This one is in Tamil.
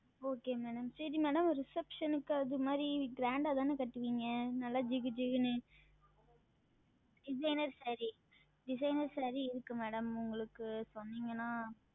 Okay Madam சரிங்கள் MadamReception க்கு அது மாதிரி Grand தானே கட்டுவிங்க நல்ல ஜிகு ஜிகு னு Designer SareeDesigner Saree இருக்கு Madam உங்களுக்கு சொன்னிங்கனா